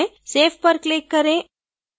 save पर click करें